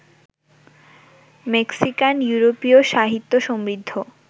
Mexican ইউরোপীয় সাহিত্য সমৃদ্ধ